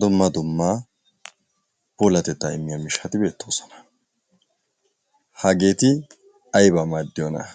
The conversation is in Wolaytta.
dumma dumma puulatettaa immiya miishshati beettoosona. Hageeti ayibaa maaddiyonaa?